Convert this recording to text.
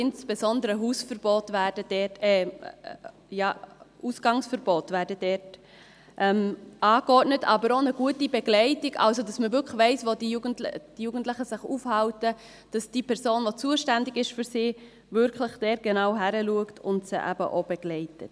Insbesondere Ausgangsverbote werden dort angeordnet, aber auch eine gute Begleitung, sodass man wirklich weiss, wo sich die Jugendlichen aufhalten, dass die für sie zuständige Person dort wirklich genau hinschaut und sie wirklich auch begleitet.